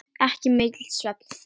Ekki mikill svefn þá.